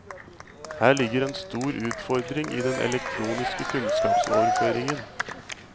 Her ligger en stor utfordring i den elektroniske kunnskapsoverføringen.